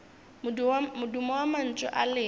modumo wa mantšu a lena